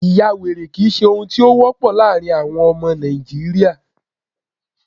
ìyawèrè kìí ṣe ohun tí o wọpọ laarin àwọn ọmọ Nàìjíría